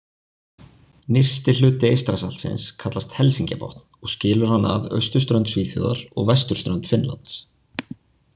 Nyrsti hluti Eystrasaltsins kallast Helsingjabotn og skilur hann að austurströnd Svíþjóðar og vesturströnd Finnlands.